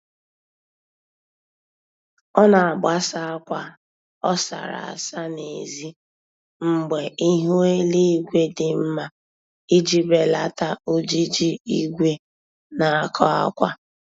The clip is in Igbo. Ọ na-agbasa akwa ọ sara asa n'ezi mgbe ihu eluigwe dị mma iji belata ojiji igwe na-akọ akwa